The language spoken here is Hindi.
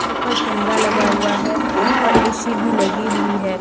ऊपर कैमरा लगा हुआ है और ए_सी भी लगी हुई है।